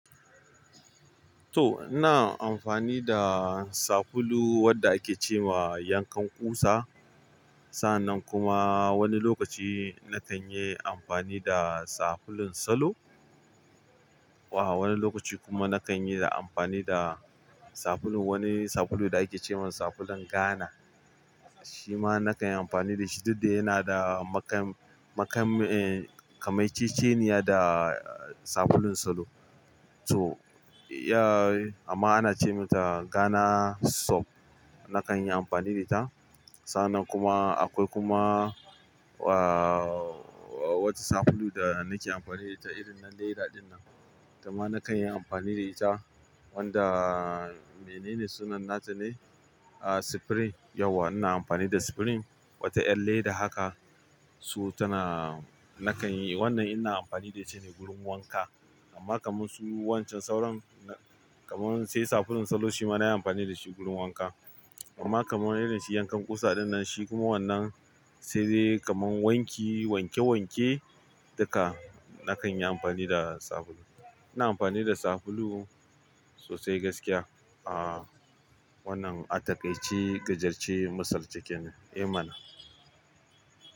To, ina amfani da sabulu wanda ake ce ma yankan ƙusa. Sannan kuma wani lokaci na kan yi amfani da sabulun salo. Wa wani lokaci kuma na kan yi amfani da sabulu, wani sabulu da ake ce wa sabulun Ghana. Shi ma na kan yi amfani da shi duk da yana da kamanceceniya da sabulun salo. To, ya amma ana ce mata Ghana soap. Na kan yi amfani da ta. Sannan kuma akwai kuma, uh, wata sabulu da na ke amfani da ta irin na leda dinnan. Kuma na kan yi amfani da ita wanda mene ne sunan nata ne? Ah, Supreme. Yauwa ina amfani da Supreme, wata 'yar leda haka. So! Tanaa nakan yi, wannan ina amfani da shi ne wurin wanka. Amma kamar su wancan sauran kamar sai sabulun salo shi ma na yi amfani da shi wurin wanka. Amma kamar irin shi yankan ƙusa dinnan shi kuma wannan sai dai kamar wanki, wanke-wanke duka na kan yi amfani da sabulu. Ina amfani da sabulu sosai gaskiya. Ah, wannan a taƙaice ƙajarcce masalci kenne. Eh mana.